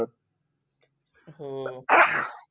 हम्म